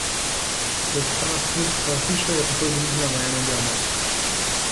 Ko pa je prišla na stopnice svoje hiše, je takoj ugriznila v eno od jabolk.